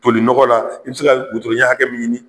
Foli nɔgɔ la i bɛ se ka wotoro ɲɛ hakɛ min ɲini